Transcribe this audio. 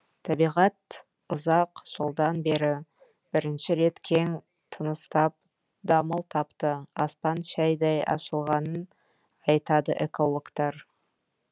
табиғат ұзақ жылдан бері бірінші рет кең тыныстап дамыл тапты аспан шайдай ашылғанын айтады экологтар